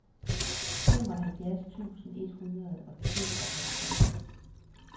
femoghalvfjerds tusind et hundrede og tooghalvtreds